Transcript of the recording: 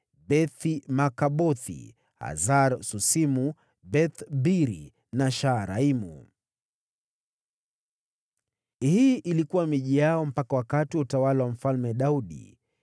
Beth-Markabothi, Hasar-Susimu, Beth-Biri na Shaaraimu. Hii ilikuwa miji yao mpaka wakati wa utawala wa Daudi.